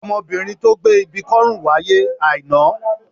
Ọmọbìnrin tí ó gbé ibi kọ́ ọrùn wáyé Aina.